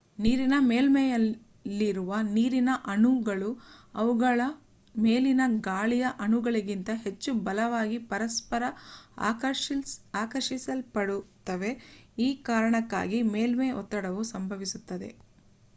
ನೀರಿನ ಮೇಲ್ಮೈಯಲ್ಲಿರುವ ನೀರಿನ ಅಣುಗಳು ಅವುಗಳ ಮೇಲಿನ ಗಾಳಿಯ ಅಣುಗಳಿಗಿಂತ ಹೆಚ್ಚು ಬಲವಾಗಿ ಪರಸ್ಪರ ಆಕರ್ಷಿಸಲ್ಪಡುತ್ತವೆ ಈ ಕಾರಣದಿಂದಾಗಿ ಮೇಲ್ಮೈ ಒತ್ತಡವು ಸಂಭವಿಸುತ್ತದೆ